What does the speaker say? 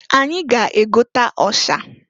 Anyị ga-egota ọsha.